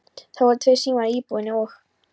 Það voru tveir símar í íbúðinni og